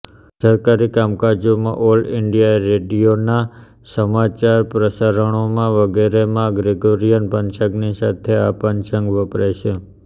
સરકારી કામકાજોમાં all India રેડિયોનાં સમાચાર પ્રસારણોમાં વગેરેમાં ગ્રેગોરીયન પંચાંગની સાથે આ પંચાંગ વપરાય છે